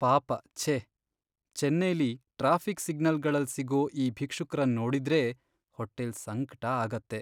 ಪಾಪ ಛೇ.. ಚೆನ್ನೈಲಿ ಟ್ರಾಫಿಕ್ ಸಿಗ್ನಲ್ಗಳಲ್ ಸಿಗೋ ಈ ಭಿಕ್ಷುಕ್ರನ್ ನೋಡಿದ್ರೇ ಹೊಟ್ಟೆಲ್ ಸಂಕ್ಟ ಆಗತ್ತೆ.